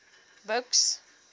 buks